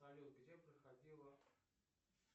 салют где проходила